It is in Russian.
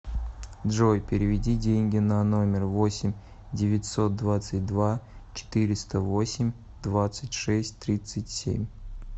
джой переведи деньги на номер восемь девятьсот двадцать два четыреста восемь двадцать шесть тридцать семь